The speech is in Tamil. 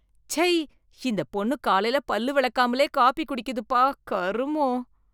ச்சை, இந்த பொண்ணு காலைல பல்லு விளக்காமலே காபி குடிக்குதுப்பா, கருமொம்